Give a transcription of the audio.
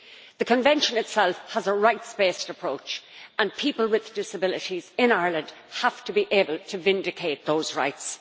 The Convention itself has a right-based approach, and people with disabilities in Ireland have to be able to vindicate those rights.